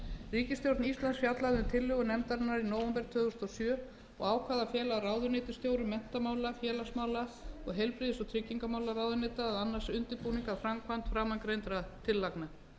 ríkisstjórn íslands fjallaði um tillögur nefndarinnar í nóvember tvö þúsund og sjö og ákvað að fela ráðuneytisstjórum menntamála félagsmála og heilbrigðis og tryggingamálaráðuneyta að annast undirbúning að framkvæmd framangreindra tillagna